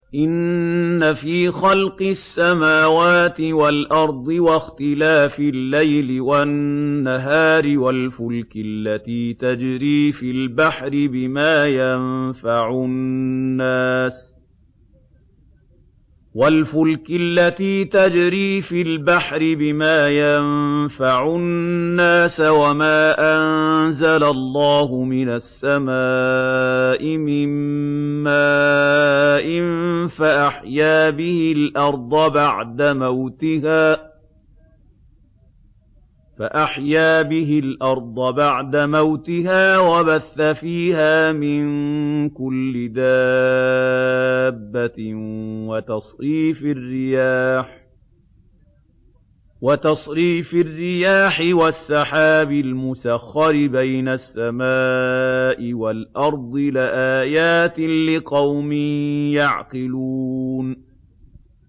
إِنَّ فِي خَلْقِ السَّمَاوَاتِ وَالْأَرْضِ وَاخْتِلَافِ اللَّيْلِ وَالنَّهَارِ وَالْفُلْكِ الَّتِي تَجْرِي فِي الْبَحْرِ بِمَا يَنفَعُ النَّاسَ وَمَا أَنزَلَ اللَّهُ مِنَ السَّمَاءِ مِن مَّاءٍ فَأَحْيَا بِهِ الْأَرْضَ بَعْدَ مَوْتِهَا وَبَثَّ فِيهَا مِن كُلِّ دَابَّةٍ وَتَصْرِيفِ الرِّيَاحِ وَالسَّحَابِ الْمُسَخَّرِ بَيْنَ السَّمَاءِ وَالْأَرْضِ لَآيَاتٍ لِّقَوْمٍ يَعْقِلُونَ